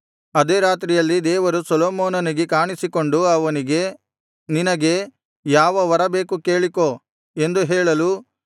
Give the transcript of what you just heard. ಅದೇ ರಾತ್ರಿಯಲ್ಲಿ ದೇವರು ಸೊಲೊಮೋನನಿಗೆ ಕಾಣಿಸಿಕೊಂಡು ಅವನಿಗೆ ನಿನಗೆ ಯಾವ ವರ ಬೇಕು ಕೇಳಿಕೋ ಎಂದು ಹೇಳಲು